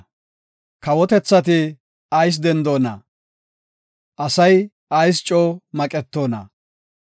Kawotethati ayis dendoona? asay ayis coo maqetoona?